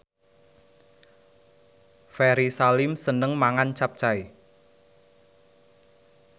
Ferry Salim seneng mangan capcay